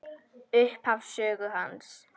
Upphaf sögu hans.